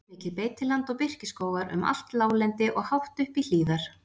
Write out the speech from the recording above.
Kjarnmikið beitiland og birkiskógar um allt láglendi og hátt upp í hlíðar.